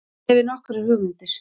Ég hefi nokkrar hugmyndir.